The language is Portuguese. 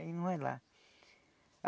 Ele não vai lá.